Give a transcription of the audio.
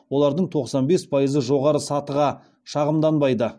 олардың тоқсан бес пайызы жоғары сатыға шағымданбайды